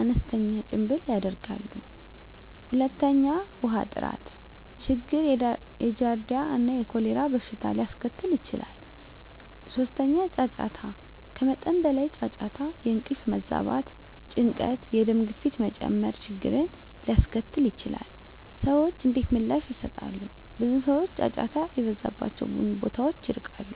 አነስተኛ ጭምብል ያደርጋሉ። 2. ውሃ ጥራት ችግር የጃርዲያ እና የኮሌራ በሽታ ሊያስከትል ይችላል። 3. ጫጫታ ከመጠን በላይ ጫጫታ የእንቅልፍ መዛባት፣ ጭንቀት፣ የደም ግፊት መጨመር ችግርን ሊያስከትል ይችላል። *ሰዎች እንዴት ምላሽ ይሰጣሉ? ብዙ ሰዎች ጫጫታ የበዛባቸውን ቦታዎች ይርቃሉ።